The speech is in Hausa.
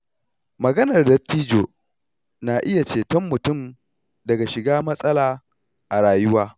Maganar dattijo na iya ceton mutum daga shiga matsala a rayuwa.